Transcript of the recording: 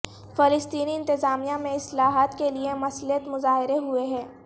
فلسطینی انتظامیہ میں اصلاحات کے لئے مسلح مظاہرے ہوئے ہیں